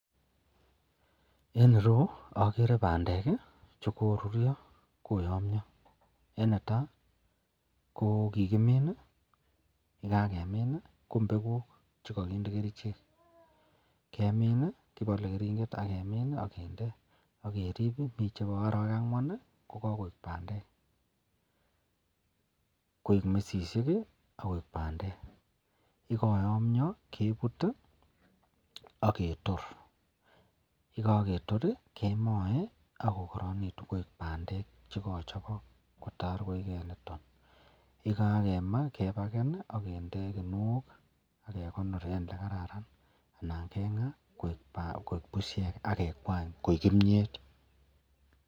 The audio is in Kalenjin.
En ireyu agere bandek korurio akoyamia en Neta ko kikimin ak yekakemin ko mbeguk chekakinde kerchek kemin agebale karinget angemin agende agerib akomiten chebo arawek angwan bagoik bandek koik mesisiek akoik bandek ak yekayamio kebut agetor ak yekaketil kemae akokaranikitunbkoik bandek chekachobok kotar yekakemaa kepaken agende kinuok agegonor en olekararan anan kenga koik bushek akekwany koik kimiet